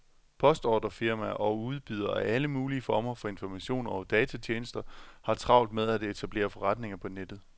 Postordrefirmaer og udbydere af alle mulige former for informationer og datatjenester har travlt med at etablere forretninger på nettet.